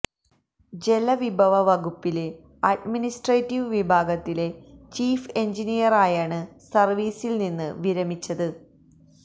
ജലവിഭവ വകുപ്പില് അഡിമിനിസ്ട്രേറ്റീവ് വിഭാഗത്തില് ചീഫ് എന്ജിനീയറായാണ് സര്വ്വീസില് നിന്ന് വിരമിച്ചത്